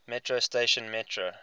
metro station metro